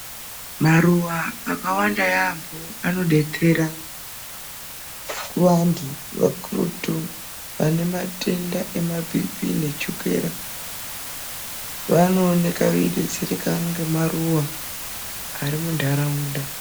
Maruwa akawanda yambo anobetsera kuvantu kakurutu vanematenda ema bhipi ne chukera. Vanooneka vei betsereka ngemaruwa arimundaraunda.